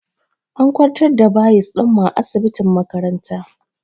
An kwantar da bayis ɗinmu a asibitin makaranta